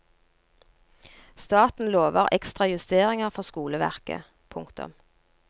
Staten lover ekstra justeringer for skoleverket. punktum